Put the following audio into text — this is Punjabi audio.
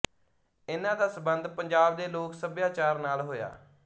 ਇੰਨ੍ਹਾਂ ਦਾ ਸਬੰਧ ਪੰਜਾਬ ਦੇ ਲੋਕ ਸੱਭਿਆਚਾਰ ਨਾਲ ਹੋਇਆ